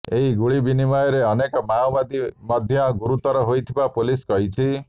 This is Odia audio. ଏହି ଗୁଳିବିନିୟମରେ ଅନେକ ମାଓବାଦୀ ମଧ୍ୟ ଗୁରୁତର ହୋଇଥିବା ପୋଲିସ କହିଛି